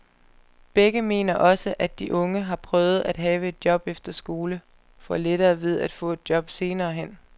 Begge mener også, at de unge, der har prøvet at have et job efter skole, får lettere ved at få et job senere hen.